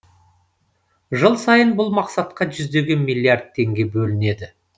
жыл сайын бұл мақсатқа жүздеген миллиард теңге бөлінеді